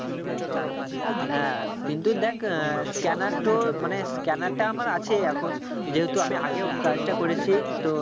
হ্যাঁ কিন্তু দেখ আহ scanner তো মানে scanner টা আমার আছে এখন যেহেতু আমি আগেও কাজটা করেছি তো